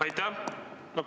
Aitäh!